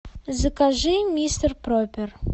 закажи мистер пропер